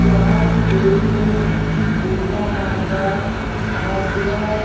यह एक दुर्गा माँ का भव्य --